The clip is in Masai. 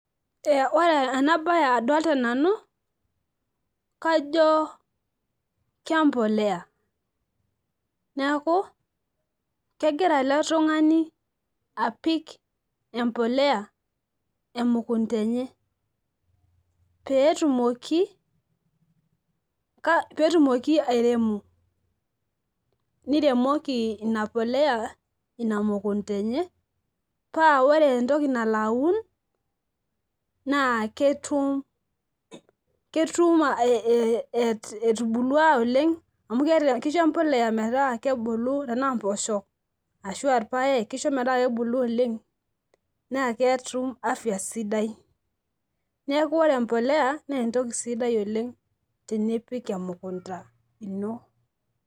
ee ore ena bae adoolta nanu, kajo kempuliya, neeku kegira ele tungani apik empuliya emukunta enye. pee etumoki ,pee etumoki airem. neiremoki ina puliya ina mukunta enye, paa ore entooki nalo aun naa ketum etubulua oleng. amu kisho empuliya metubulu. tenaa mpoosho ashu aa irpaek kisho metaa kebulu oleng. naa keisho afya sidai. neek ore empuliya naa entoki sidai oleng tenipik emukunta ino.